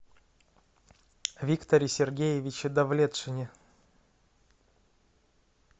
викторе сергеевиче давлетшине